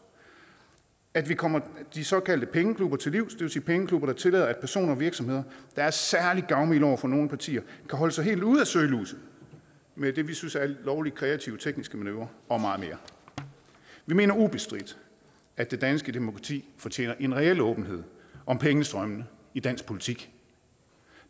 at vi kommer de såkaldte pengeklubber til livs det vil sige pengeklubber der tillader at personer og virksomheder der er særlig gavmilde over for nogle partier kan holde sig helt ude af søgelyset med det vi synes er lovlig kreative tekniske manøvrer og meget mere vi mener ubestridt at det danske demokrati fortjener en reel åbenhed om pengestrømmene i dansk politik